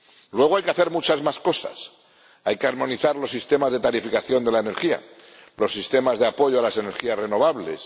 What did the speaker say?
Luego, hay que hacer muchas más cosas hay que armonizar los sistemas de tarificación de la energía, los sistemas de apoyo a las energías renovables